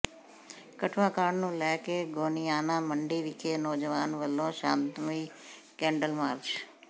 ਕਠੂਆ ਕਾਂਡ ਨੂੰ ਲੈ ਕੇ ਗੋਨਿਆਣਾ ਮੰਡੀ ਵਿਖੇ ਨੌਜਵਾਨਾਂ ਵਲੋਂ ਸ਼ਾਂਤਮਈ ਕੈਂਡਲ ਮਾਰਚ